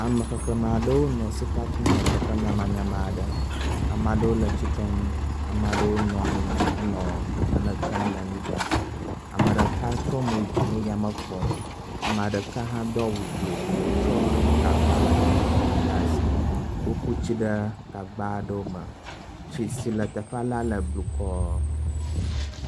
Amexexlẽme aɖewo nɔ sika kum le teƒe nyamanyama aɖe. Ame aɖewo le tsitrenu, Ame aɖewo nɔ anyi henɔ nane tsɔm le anyigba. Ame ɖeka tsɔ mo yi dzi nɔ yame kpɔm. Ame ɖeka hã do awu blo wotsɔa gagba vivivi ɖe asi . Wo ku tsi ɖe gagba aɖewo me. Tsi si le teƒela le bukɔɔɔ